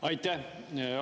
Aitäh!